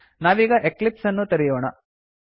ನಾವೀಗ ಎಕ್ಲಿಪ್ಸ್ ಅನ್ನು ತೆರೆಯೋಣ